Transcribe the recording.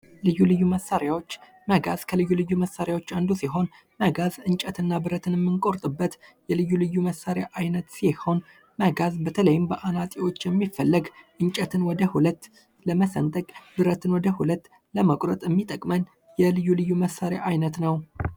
ልዩ ልዩ መሳሪያዎች መገዝ ከልዩ ልዩ መሳሪያዎች አንዱ ሲሆድ መጋዝ እንጨትና ብረትን እምን ቆርጥበት ልዩ ልዩ መሳሪያ አይነት ሲሆን መጋቡ ተለየኝ በተለይም በአናፂዎች የሚፈልግ እንጨትን ወደ 2 ብረትን ወደ 2 ለመቁረጥ የሚጠቅም የልዩ ልዩ መሳሪያ አይነት ነው።